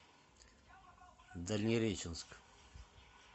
дальнереченск